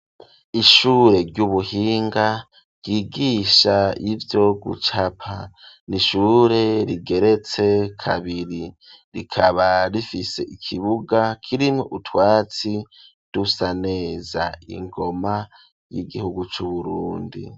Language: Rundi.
Ishure ry'ubuhinga ryigisha ivyo gucapa, n'ishure rigeretse kabiri rikaba rifise ikibuga kirimwo utwatsi dusaneza, ingoma y'igihugu c'Uburundi.